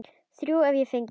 Þrjú hef ég fengið.